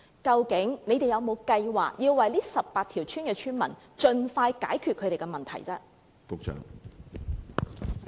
究竟局方有否計劃為這18條村的村民盡快解決食水問題？